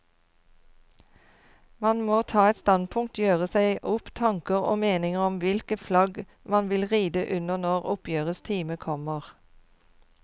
Man må ta et standpunkt, gjøre seg opp tanker og meninger om hvilket flagg man vil ride under når oppgjørets time kommer.